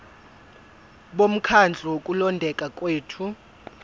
bomkhandlu wokulondeka kwethu